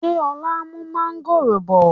Ṣé ọ̀la n mú mọ̀ngòrò bọ̀?